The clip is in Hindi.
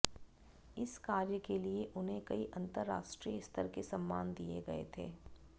इस कार्य के लिए उन्हें कई अंतरराष्ट्रीय स्तर के सम्मान दिए गए थे